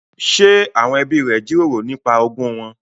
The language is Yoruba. Ṣé àwọn ẹbí rẹ jíròrò nípa ogún wọn?